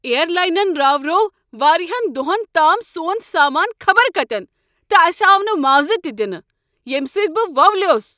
ایرلاینن راوروو واریہن دۄہن تام سون سامانہٕ خبر کتین تہٕ اسہ آو نہٕ معاوضہ تہ دنہٕ ییٚمہ سۭتۍ بہ وولیوس ۔